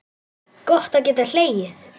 Gott að geta hlegið.